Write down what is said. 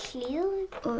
við